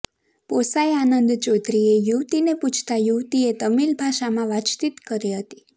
પોસઇ આનંદ ચૌધરીએ યુવતીને પૂછતા યુવતીએ તમીલ ભાષામાં વાતચીત કરી હતી